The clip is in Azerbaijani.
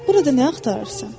Burda nə axtarırsan?